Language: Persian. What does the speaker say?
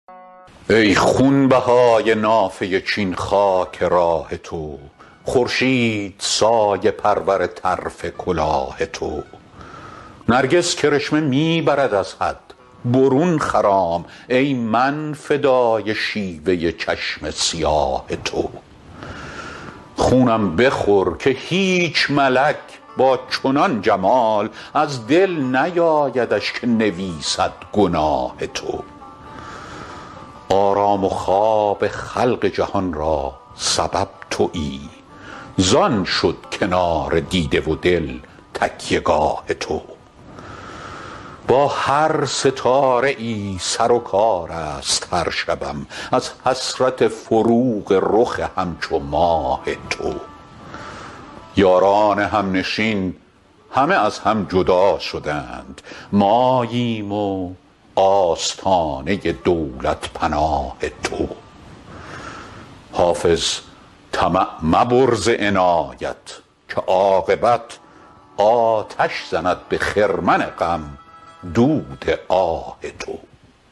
ای خونبهای نافه چین خاک راه تو خورشید سایه پرور طرف کلاه تو نرگس کرشمه می برد از حد برون خرام ای من فدای شیوه چشم سیاه تو خونم بخور که هیچ ملک با چنان جمال از دل نیایدش که نویسد گناه تو آرام و خواب خلق جهان را سبب تویی زان شد کنار دیده و دل تکیه گاه تو با هر ستاره ای سر و کار است هر شبم از حسرت فروغ رخ همچو ماه تو یاران همنشین همه از هم جدا شدند ماییم و آستانه دولت پناه تو حافظ طمع مبر ز عنایت که عاقبت آتش زند به خرمن غم دود آه تو